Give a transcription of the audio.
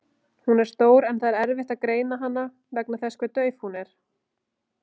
Hún er stór en erfitt er að greina hana vegna þess hve dauf hún er.